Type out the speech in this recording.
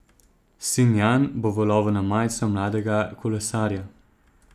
Sin Jan bo v lovu na majico mladega kolesarja.